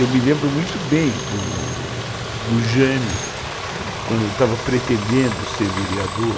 Eu me lembro muito bem do Jânio, quando estava pretendendo ser vereador,